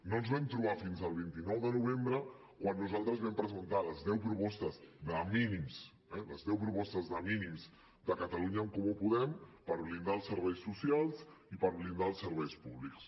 no ens vam trobar fins al vint nou de novembre quan nosaltres vam presentar les deu propostes de mínims eh de catalunya en comú podem per blindar els serveis socials i per blindar els serveis públics